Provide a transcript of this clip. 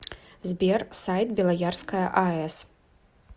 сбер сайт белоярская аэс